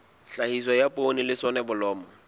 tlhahiso ya poone le soneblomo